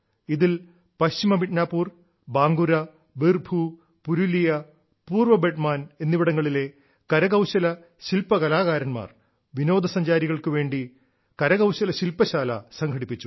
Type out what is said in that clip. ഇതിൽ പശ്ചിമ മിദനാപൂർ ബാങ്കുരാ ബീർഭൂ പുരുലിയ പൂർവ്വബഡമാൻ എന്നിവിടങ്ങളിലെ കരകൌശലശില്പ കലാകാര•ാർ വിനോദസഞ്ചാരികൾക്കു വേണ്ടി കരകൌശല ശില്പശാല സംഘടിപ്പിച്ചു